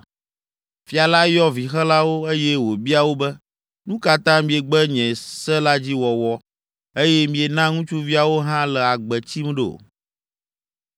Fia la yɔ vixelawo, eye wòbia wo be, “Nu ka ta miegbe nye se la dzi wɔwɔ, eye miena ŋutsuviawo hã le agbe tsim ɖo?”